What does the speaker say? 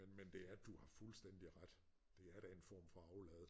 Men men det er du har fuldstændig ret det er da en form for aflad